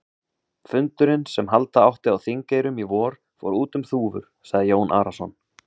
Fundurinn sem halda átti á Þingeyrum í vor, fór út um þúfur, sagði Jón Arason.